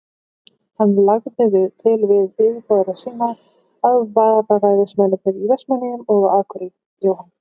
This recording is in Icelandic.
Hann lagði til við yfirboðara sína, að vararæðismennirnir í Vestmannaeyjum og á Akureyri, Jóhann